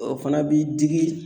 fana b'i digi